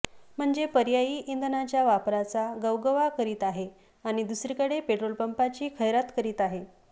म्हणजे पर्यायी इंधनाच्या वापराचा गवगवा करीत आहे आणि दुसरीकडे पेट्रोल पंपांची खैरात करीत आहे